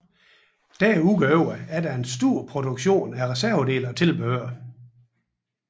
Desuden er der en stor produktion af reservedele og tilbehør